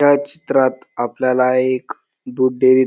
या चित्रात आपल्याला एक दूध डेअरी --